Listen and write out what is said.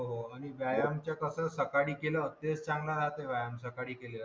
व्यायाम कसा सकाळी केलं ते चांगला राहते व्यायाम सकाळी केलेला आणि